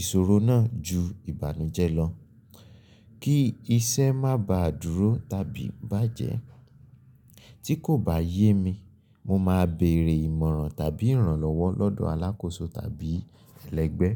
ìṣòro náà ju ìbánujé lọ, kí iṣẹ́ má ba dúró tàbí bà á jẹ. Tí kò bá yé mi, mo máa bèrè ìmọ̀ràn tàbí ìrànlọ́wọ́ lọ́dọ̀ alákòóso tàbí ẹlẹ́gbẹ́.